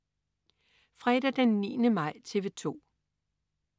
Fredag den 9. maj - TV 2: